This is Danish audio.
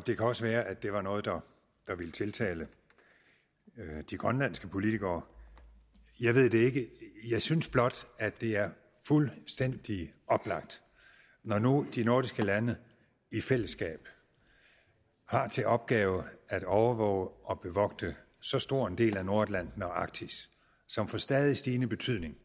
det kan også være at det var noget der ville tiltale de grønlandske politikere jeg ved det ikke jeg synes blot at det er fuldstændig oplagt når nu de nordiske lande i fællesskab har til opgave at overvåge og bevogte så stor en del af nordatlanten og arktis som får stadig stigende betydning